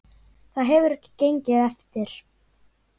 Það hefur ekki gengið eftir.